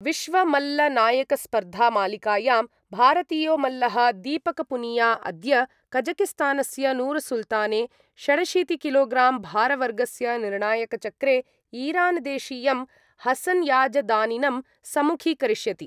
विश्वमल्लनायकस्पर्धामालिकायां भारतीयो मल्लः दीपकपूनिया अद्य कजकिस्तानस्य नूरसुल्ताने षडशीतिकिलोग्राम् भारवर्गस्य निर्णायकचक्रे ईरान्देशीयं हसनयाजदानिनं सम्मुखीकरिष्यति।